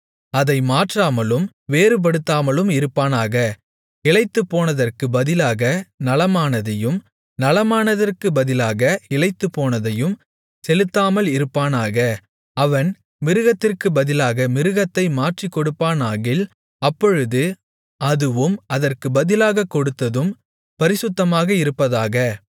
அதை மாற்றாமலும் வேறுபடுத்தாமலும் இருப்பானாக இளைத்துப்போனதற்குப் பதிலாக நலமானதையும் நலமானதற்குப் பதிலாக இளைத்துப்போனதையும் செலுத்தாமல் இருப்பானாக அவன் மிருகத்திற்குப் பதிலாக மிருகத்தை மாற்றிக் கொடுப்பானாகில் அப்பொழுது அதுவும் அதற்குப் பதிலாகக் கொடுத்ததும் பரிசுத்தமாக இருப்பதாக